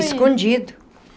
Escondido.